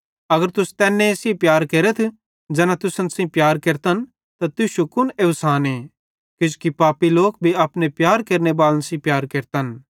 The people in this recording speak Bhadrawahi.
अगर तुस तैन्ने सेइं प्यार केरथ ज़ैना तुसन सेइं प्यार केरतन त तुश्शू कुन एवसाने किजोकि पापी लोक भी अपने प्यार केरनेबालन सेइं प्यार केरतन